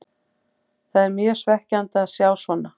Það er mjög svekkjandi að sjá svona.